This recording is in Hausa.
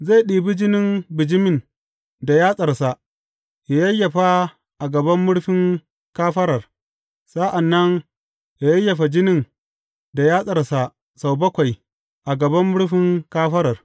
Zai ɗibi jinin bijimin da yatsarsa yă yayyafa a gaban murfin kafarar; sa’an nan yă yayyafa jinin da yatsarsa sau bakwai a gaban murfin kafarar.